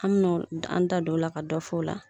An mi no an da don o la ka dɔfo o la.